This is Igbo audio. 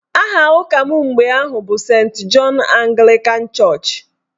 Aha ụka m mgbe ahụ bụ Sent Jọn Aglịkan chọọchị